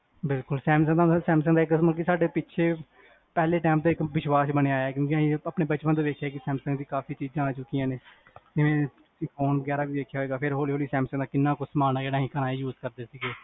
ਬਿਲਕੁਲ, ਸੈਮਸੰਗ ਦਾ ਸਾਡੇ ਪਿਛੇ ਪਹਲੇ time ਤੇ ਸਾਡੇ ਵਿਸ਼ਵਾਸ਼ ਬਣਿਆ ਹੋਇਆ, ਕਿਓਂਕਿ ਆਪਾ ਨੇ ਬਚਪਨ ਤੋ ਵੇਖਿਆ ਆ, ਕੀ ਸੈਮਸੰਗ ਦੀ ਕਾਫੀ ਚੀਜਾਂ ਆ ਚੁਕੀਆਂ ਨੇ ਜਿਵੇਂ phone ਵਗੇਰਾ ਵੀ ਦੇਖਿਆ ਹੋਏਗਾ ਫੇਰ, ਹੋਲੀ ਹੋਲੀ ਸੈਮਸੰਗ ਦਾ ਕਿੰਨਾ ਕੁਛ ਸਮਾਨ ਆ ਜਾਣਾ ਸੀ, ਤਾਂ ਅਸੀ use ਕਰਦੇ ਸੀਗੇ